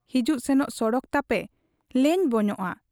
ᱦᱤᱡᱩᱜ ᱥᱮᱱᱚᱜ ᱥᱚᱲᱚᱠ ᱛᱟᱯᱮ ᱞᱮᱧᱵᱚᱧᱚᱜ ᱟ ᱾